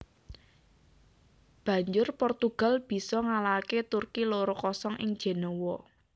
Banjur Portugal bisa ngalahaké Turki loro kosong ing Jenéwa